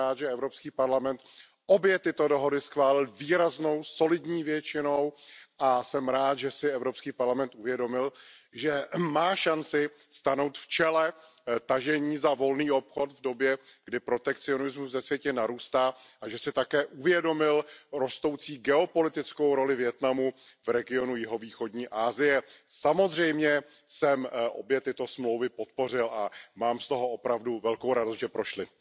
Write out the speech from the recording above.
Jsem rád, že EP obě tyto dohody schválil výraznou solidní většinou, a jsem rád, že si EP uvědomil, že má šanci stanout v čele tažení za volný obchod v době, kdy protekcionismus ve světě narůstá, a že si také uvědomil rostoucí geopolitickou roli Vietnamu v regionu jihovýchodní Asie. Samozřejmě jsem obě tyto smlouvy podpořil a mám z toho opravdu velkou radost, že prošly.